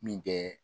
Min tɛ